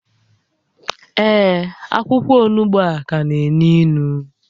Ee, akwụkwọ onugbu a ka na-énú ínú